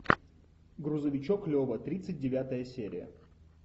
грузовичок лева тридцать девятая серия